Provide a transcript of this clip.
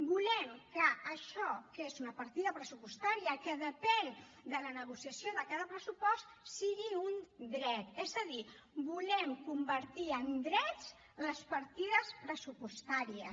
volem que això que és una partida pressupostària que depèn de la negociació de cada pressupost sigui un dret és a dir volem convertir en drets les partides pressupostàries